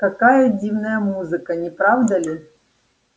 какая дивная музыка не правда ли